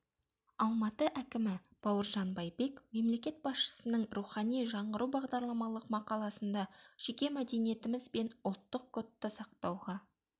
алматы әкімі бауыржан байбек мемлекет басшысының рухани жаңғыру бағдарламалық мақаласында жеке мәдениетіміз бен ұлттық кодты сақтауға